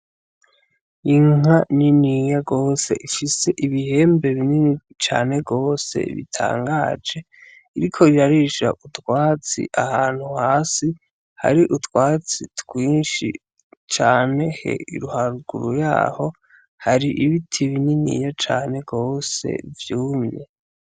Inka niniya gose, ifise ibihembe binini cane gose bitangaje, iriko irarisha utwatsi ahantu hasi hari utwatsi twinshi cane, haruguru yaho hari ibiti bininiya cane gose vyumye.